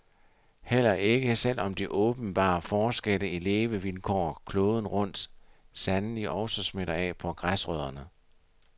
Heller ikke, selv om de åbenbare forskelle i levevilkår kloden rundt sandelig også smitter af på græsrødderne.